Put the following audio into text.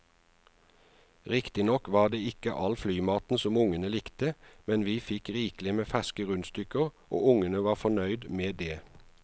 Riktignok var det ikke all flymaten som ungene likte, men vi fikk rikelig med ferske rundstykker og ungene var godt fornøyd med det.